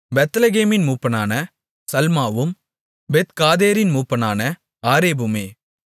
பெத்லெகேமின் மூப்பனான சல்மாவும் பெத்காதேரின் மூப்பனான ஆரேப்புமே